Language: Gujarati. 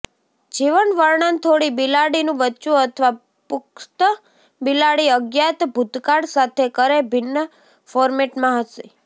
જીવન વર્ણન થોડી બિલાડીનું બચ્ચું અથવા પુખ્ત બિલાડી અજ્ઞાત ભૂતકાળ સાથે કરે ભિન્ન ફોર્મેટમાં હશે